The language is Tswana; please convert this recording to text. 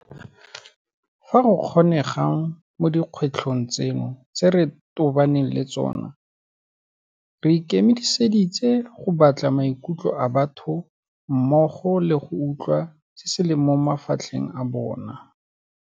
Fa go kgonegang mo dikgwetlhong tseno tse re tobaneng le tsona, re ikemiseditse go batla maikutlo a batho mmogo le go utlwa se se leng mo mafatlheng a bona.